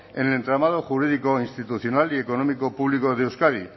en el entramado jurídico institucional y económico público de euskadi